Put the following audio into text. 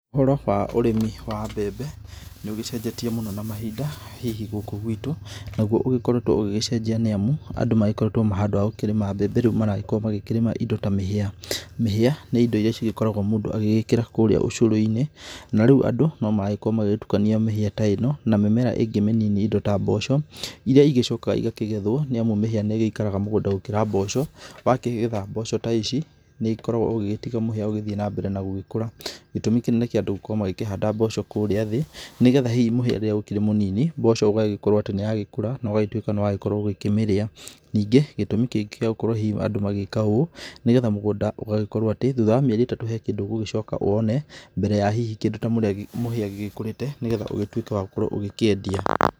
Ũhoro wa ũrĩmi wa mbembe, nĩ ũgĩcenjetie mũno na mahinda hihi gũkũ gwitũ, naguo ũgĩkoretwo ũgĩgĩcenjia nĩ amu, andũ magĩkoretwo handũ ha gũkĩrĩma mbembe rĩu maragĩkorwo magĩkĩrĩma indo ta mĩhĩa. Mĩhĩa nĩ indo iria cigĩkoragwo mũndũ agĩgĩkĩra kũrĩa ũcũrũ-inĩ, na rĩu andũ no maragĩkorwo magĩgĩtukania mĩhĩa ta ĩno na mĩmera ĩngĩ mĩnini indo ta mboco iria igĩcokaga igakĩgethwo, nĩ amu mĩhĩa nĩ ĩgĩikaraga mũgũnda gũkĩra mboco, wakĩgetha mboco ta ici nĩ ũkoragwo ũgĩgĩtiga mũhĩa ũgĩthiĩ na mbere na gũgĩkũra. Gĩtũmi kĩnene kĩa andũ gũkorwo magĩkĩhanda mboco kũũrĩa thĩĩ, nĩ getha hihi rĩrĩa mũhĩa ũkĩrĩ mũnini, mboco ũgagĩkorwo atĩ nĩ ya gĩkũra, na ũgagĩtuĩka nĩ wagĩkorwo ũgũkĩmĩrĩa. Ningĩ, gĩtũmi kĩngĩ gĩa gũkorwo hihi andũ magĩgĩka ũũ, nĩ getha mũgũnda ũgagĩkorwo atĩ thutha wa mĩerĩ ĩtatũ he kĩndũ ũgũgĩcoka wone mbere ya hihi kĩndũ ta mũhĩa gĩgĩkũrĩte nĩ getha ũgĩtuĩke wa gũkorwo ũgĩkĩendia.